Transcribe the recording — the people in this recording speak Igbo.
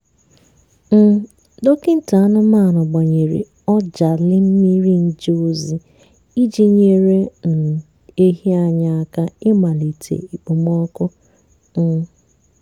um dọkịta anụmanụ gbanyere ọjalị mmiri nje ozi iji nyere um ehi anyị aka imalite okpomọkụ. um